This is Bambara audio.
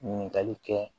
Ɲininkali kɛ